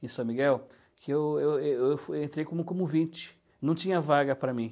em São Miguel, que eu eu eu entrei como como ouvinte, não tinha vaga para mim.